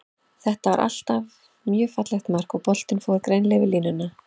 Þetta var mjög fallegt mark, og boltinn fór greinilega yfir línuna.